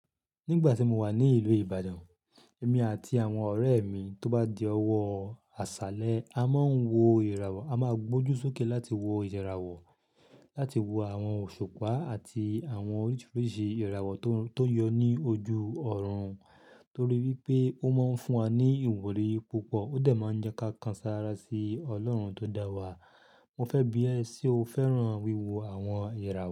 Nígbà tí mo wà ní ìlú Ìbàdàn, èmi àti àwọn ọ̀rẹ́ mi tó bá di ọjọ́ àṣálẹ́, a máa ń wo ìràwọ̀, a máa gbójú sókè láti wo ìràwọ̀, láti wo àwọn òṣùpá àti àwọn oríṣiríṣi ìràwọ̀ tó yọ ní ojú ọ̀run. Nítorí pé ó máa ń fún wa ní ìwúrí púpọ̀, ó dà máa ń jẹ́ kákanjú sára sí Ọlọ́run tó dá wa. Mo fẹ́ bí ẹ se o fẹ́ràn wíwo àwọn ìràwọ̀